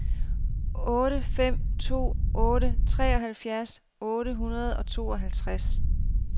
otte fem to otte treoghalvfjerds otte hundrede og tooghalvtreds